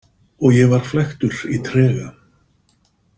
Og ég var flæktur í trega.